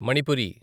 Manipuri